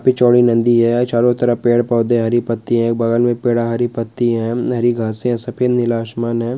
काफी चौड़ी नदी है चारों तरफ पेड़-पौधे हरी पट्टी है बगल में पैदा हरी पट्टी एवं नई घास सफेद नीला आसमान है।